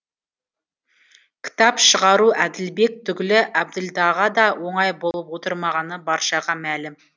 кітап шығару әділбек түгілі әбділдаға да оңай болып отрмағаны баршаға мәлім